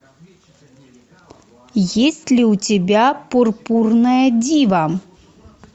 есть ли у тебя пурпурная дива